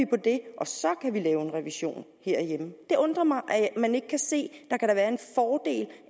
på det og så kan man lave en revision herhjemme det undrer mig at man ikke kan se